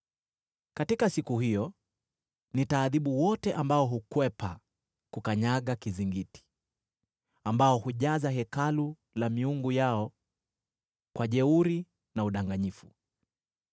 Katika siku hiyo nitaadhibu wote ambao hukwepa kukanyaga kizingiti, ambao hujaza hekalu la miungu yao kwa dhuluma na udanganyifu.”